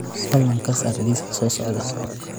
fadlan ka saar liiska soo socda